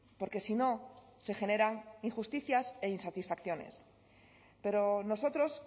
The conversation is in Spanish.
porque si no se generan injusticias e insatisfacciones pero nosotros